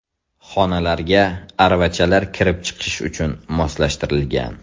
Xonalarga aravachalar kirib chiqish uchun moslashtirilgan.